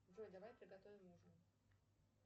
джой давай приготовим ужин